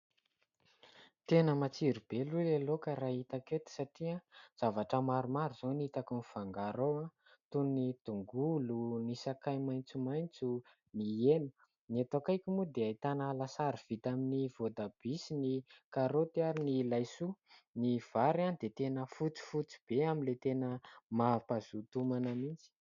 Tena matsiro be aloha ilay laoka raha hitako eto satria zavatra maromaro izao no hitako mifangaro ao toy ny tongolo, ny sakay maitsomaitso, ny hena. Ny eto akaiky moa dia ahitana lasary vita amin'ny voatabia sy ny karôty ary ny laisoa ny vary dia fotsifotsy be amin'ilay tena mampahazoto homana mihitsy.